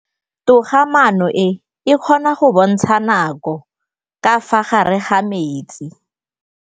Toga-maanô e, e kgona go bontsha nakô ka fa gare ga metsi.